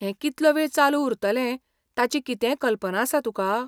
हें कितलो वेळ चालू उरतलें ताची कितेंय कल्पना आसा तुका?